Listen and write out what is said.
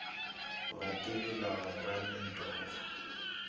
vativi lava nga ni ntokoto